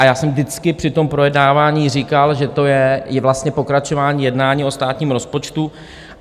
A já jsem vždycky při tom projednávání říkal, že to je vlastně pokračování jednání o státním rozpočtu.